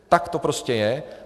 Tak to prostě je.